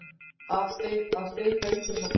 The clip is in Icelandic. Að steypa einhverjum af stóli